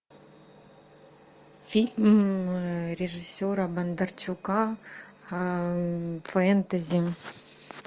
фильм режиссера бондарчука фэнтези